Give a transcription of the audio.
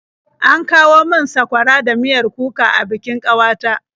An kawo min sakwara da miyar kuka a bikin ƙawata.